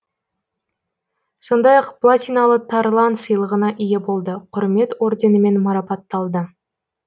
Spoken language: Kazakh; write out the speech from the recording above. сондай ақ платиналы тарлан сыйлығына ие болды құрмет орденімен марапатталды